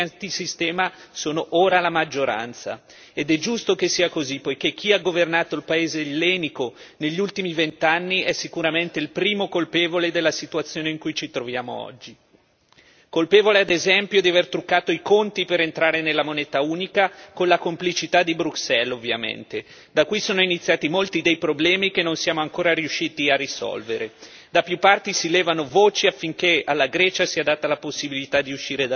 I cittadini greci hanno voluto dare un segnale forte alle ultime elezioni, i partiti antisistema sono ora la maggioranza ed è giusto che sia così perché chi ha governato il paese ellenico negli ultimi vent'anni è sicuramente il primo colpevole della situazione in cui ci troviamo oggi, colpevole ad esempio di aver truccato i conti per entrare nella moneta unica con la complicità di Bruxelles, ovviamente, da qui sono iniziati molti dei problemi che non siamo ancora riusciti a risolvere.